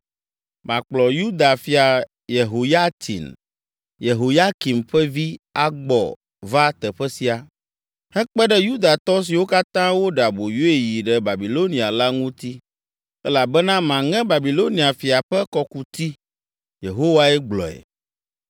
Makplɔ Yuda fia Yehoyatsin, Yehoyakim ƒe vi agbɔ va teƒe sia, hekpe ɖe Yudatɔ siwo katã woɖe aboyoe yi ɖe Babilonia la ŋuti, elabena maŋe Babilonia fia ƒe kɔkuti.’ ” Yehowae gblɔe.